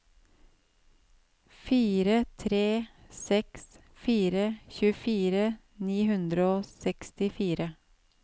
fire tre seks fire tjuefire ni hundre og sekstifire